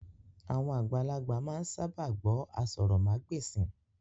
Àwọn àgbàlagbà máa ń sábà gbó aṣórómagbesìn